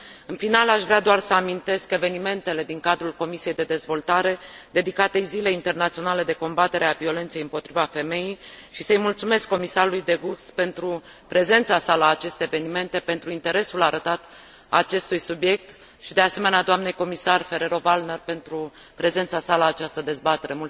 În final, aș vrea doar să amintesc evenimentele din cadrul Comisiei de dezvoltare, dedicate Zilei internaționale de combatere a violenței împotriva femeii și să îi mulțumesc comisarului De Gucht pentru prezența sa la aceste evenimente, pentru interesul arătat acestui subiect și, de asemenea, doamnei comisar Ferrero Waldner pentru prezența sa la această dezbatere.